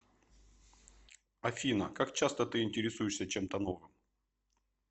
афина как часто ты интересуешься чем то новым